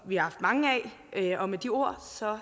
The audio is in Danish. vi haft mange af og med de ord